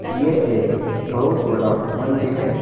यह एक बहुत बड़ा मंदिर है।